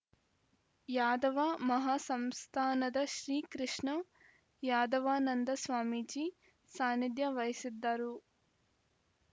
ಯಾದವ ಮಹಾ ಸಂಸ್ಥಾನದ ಶ್ರೀ ಕೃಷ್ಣ ಯಾದವಾನಂದ ಸ್ವಾಮೀಜಿ ಸಾನಿಧ್ಯ ವಹಿಸಿದ್ದರು